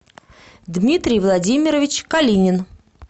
дмитрий владимирович калинин